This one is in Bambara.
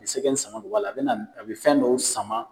Ni sɛgɛ ni sama de b'a la, a be na be fɛn dɔ sama.